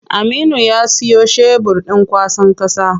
Aminu ya siyo shebur ɗin kwasan ƙasa.